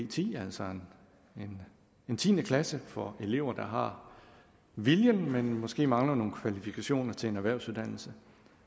ti altså en tiende klasse for elever der har viljen men måske mangler nogle kvalifikationer til en erhvervsuddannelse